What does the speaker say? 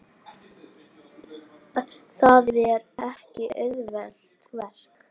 Það er ekki auðvelt verk.